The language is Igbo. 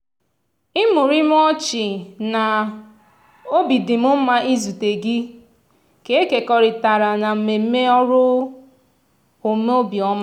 imurimu ọchị na "obi dị m mma izute gị" ka e kekọrịtara na mmemme ọrụ omenobiọma.